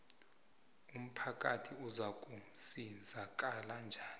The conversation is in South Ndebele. umphakathi uzakusizakala njani